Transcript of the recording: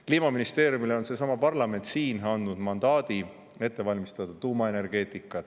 Kliimaministeeriumile on seesama parlament siin andnud mandaadi ette valmistada tuumaenergeetikat.